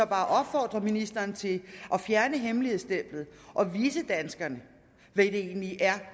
bare opfordre ministeren til at fjerne hemmeligstemplingen og vise danskerne hvad det egentlig er